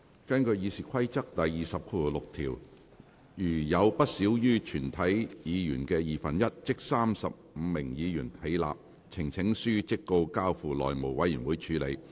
根據《議事規則》第206條，如有不少於全體議員的二分之一起立，呈請書即告交付內務委員會處理。